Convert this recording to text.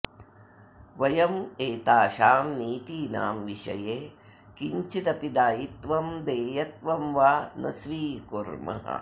वयम् एताषां नीतीनां विषये किञ्चिदपि दायित्वं देयत्वं वा न स्वीकुर्मः